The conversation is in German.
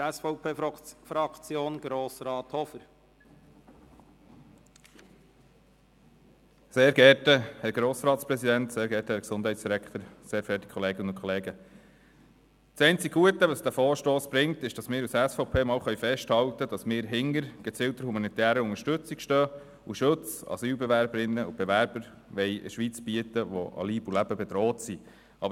Das einzige Gute an diesem Vorstoss ist, dass wir von der SVP einmal festhalten können, dass wir hinter einer gezielten humanitären Unterstützung stehen und Asylbewerberinnen und Asylbewerbern, die an Leib und Leben bedroht sind, Schutz bieten wollen.